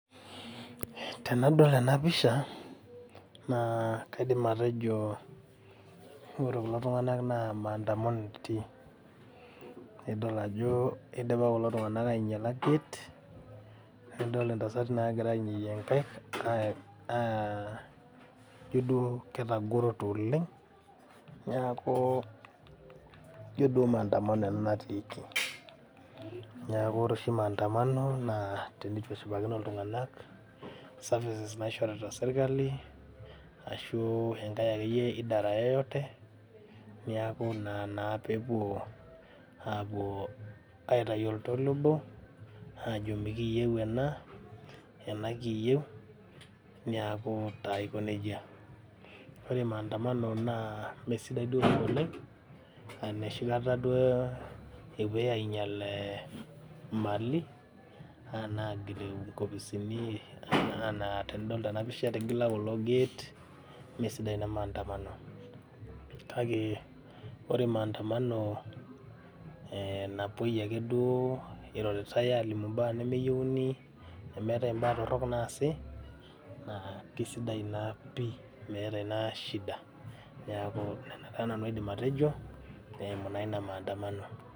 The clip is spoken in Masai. Tenadol enapisha naa kaidim atejo; oree kulo tung'anak na maandamano etii idol ajo keidipa kulo tung'anak ainyala gate idol intasati nagira ainyoyie nkaik aaa jo duo ketagorote oleng neaku joo duo Maandamano ena natiiki neaku ore oshi Maandamano teneitu eshipakino iltung'anak Services naishorita Serikali ashuu enkai idara yeyote neaku ina naa pewuo aitai oltoilo ajo mekiyou ena ena kiyeu neaku taa aiko nejaoree Maandamano naa mee sidai oleng nooshikata duo ewoi ainyal imalin anaa agil ing'opisini anaa tenidol tenapisha etigila kulo Gate meesidai ina Maandamano kake oree maandamano eee napuoi ake duo eiroritai alimu imbaa nemeyouni neemetai imbaa torok naasi naa kesidai ina pii meeta ina shida neaku Nena taa aidim nanu atejo eimu naa ina Maandamano.